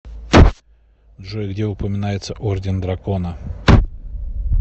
джой где упоминается орден дракона